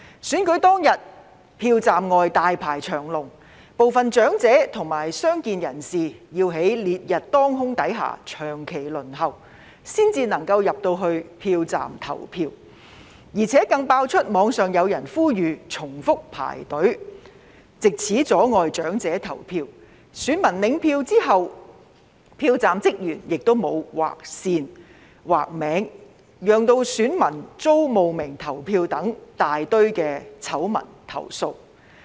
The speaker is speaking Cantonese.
選舉當天，票站外大排長龍，部分長者及傷健人士要在烈日當空下長期輪候，才可以進入票站投票，而且更爆出網上有人呼籲重複排隊，藉此阻礙長者投票，以及選民領取選票後，票站職員沒有劃線劃名，令選民遭冒名投票等大堆醜聞投訴。